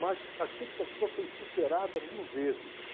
Mas a expectativa foi superada mil vezes.